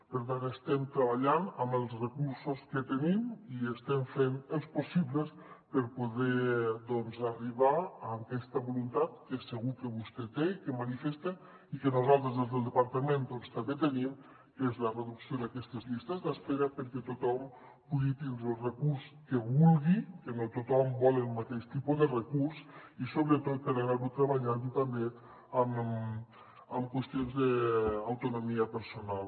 per tant estem treballant amb els recursos que tenim i estem fent els possibles per poder doncs arribar a aquesta voluntat que segur que vostè té i que manifesta i que nosaltres des del departament també tenim que és la reducció d’aquestes llistes d’espera perquè tothom pugui tindre el recurs que vulgui que no tothom vol el mateix tipus de recurs i sobretot per anar ho treballant també amb qüestions d’autonomia personal